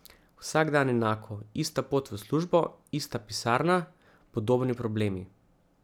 Vsak dan enako, ista pot v službo, ista pisarna, podobni problemi.